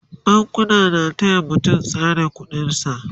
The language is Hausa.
bankuna na taya mutum tsare ƙuɗin sa